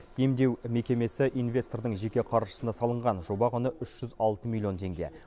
емдеу мекемесі инвестордың жеке қаржысына салынған жоба құны үш жүз алты миллион теңге